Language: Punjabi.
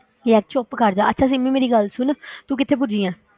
ਯਾਰ ਚੁੱਪ ਕਰ ਜਾ, ਅੱਛਾ ਸਿਮੀ ਮੇਰੀ ਗੱਲ ਸੁਣ ਤੂੰ ਕਿੱਥੇ ਪੁੱਜੀ ਹੈ?